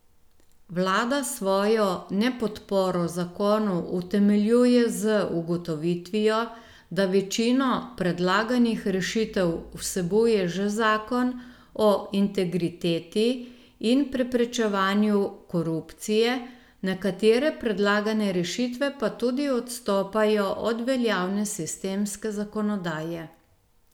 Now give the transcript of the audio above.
Vlada svojo nepodporo zakonu utemeljuje z ugotovitvijo, da večino predlaganih rešitev vsebuje že zakon o integriteti in preprečevanju korupcije, nekatere predlagane rešitve pa tudi odstopajo od veljavne sistemske zakonodaje.